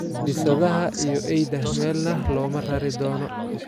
" Bisadaha iyo eyda meelna looma rari doono.